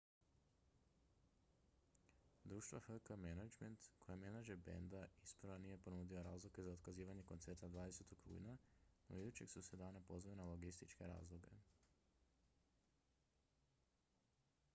društvo hk management inc koje je menadžer benda isprva nije ponudilo razloge za otkazivanje koncerta 20. rujna no idućeg su se dana pozvali na logističke razloge